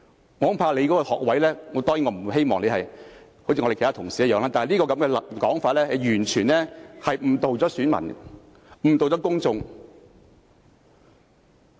我恐怕你的學位......當然，我不希望你跟其他同事一樣，但這種說法是完全誤導選民和公眾的。